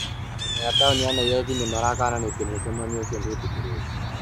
Anene a taũni ya Nairobi nĩmarakananĩtie mũcemanio ũcio ndwĩtikĩrĩtio